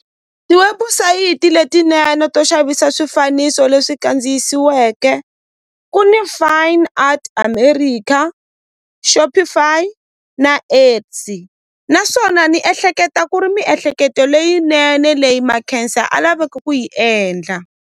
Tiwebusayiti letinene to xavisa swifaniso leswi kandziyisiweke ku Fine Art America Shopify na X naswona ni ehleketa ku ri miehleketo leyinene leyi Makhensa a laveke ku yi endla